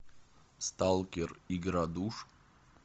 сталкер игра душ